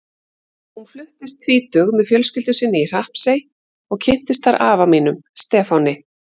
Hún fluttist tvítug með fjölskyldu sinni í Hrappsey og kynntist þar afa mínum, Stefáni.